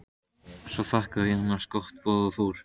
Svo þakkaði ég annars gott boð og fór.